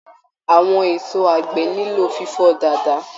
Àwọn èso àgbẹ̀ nilo fifọ dáadáa.